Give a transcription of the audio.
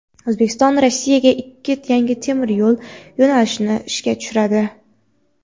O‘zbekiston Rossiyaga ikki yangi temir yo‘l yo‘nalishini ishga tushiradi.